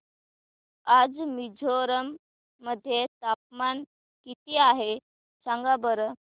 आज मिझोरम मध्ये तापमान किती आहे सांगा बरं